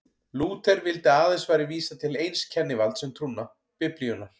Lúther vildi að aðeins væri vísað til eins kennivalds um trúna, Biblíunnar.